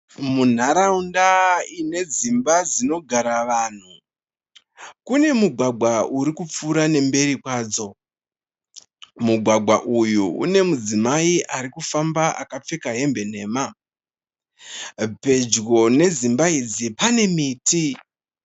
Munharaunda ine dzimba dzinogara vanhu. Kune mugwagwa urikupfuura nekumberi kwadzo. Mugwagwa uyu une mudzimai arikufamba akapfeka hembe nhema. Pedyo nedzimba idzi pane miti.